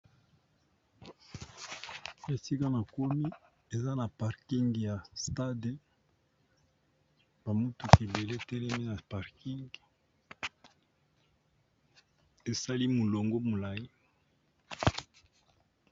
Esika na komi eza na parking ya stade ba mutuka ebele etelemi na parking esali molongo molayi